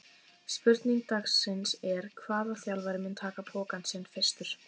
Spurning dagsins er: Hvaða þjálfari mun taka pokann sinn fyrstur?